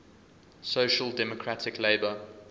social democratic labour